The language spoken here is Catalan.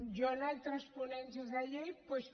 jo en altres ponències de llei doncs